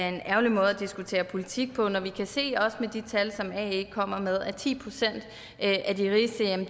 en ærgerlig måde at diskutere politik på når vi kan se af de tal som ae kommer med at ti procent af